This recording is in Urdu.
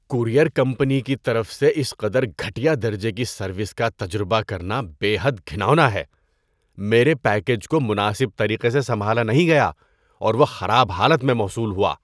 کوریئر کمپنی کی طرف سے اس قدر گھٹیا درجے کی سروس کا تجربہ کرنا بے حد گھناؤنا ہے۔ میرے پیکیج کو مناسب طریقے سے سنبھالا نہیں گیا اور وہ خراب حالت میں موصول ہوا۔